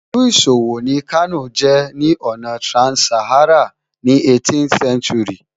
Ìlú ìṣòwò ni Kano jẹ́ ní ọ̀nà trans-Saharan ní 18th century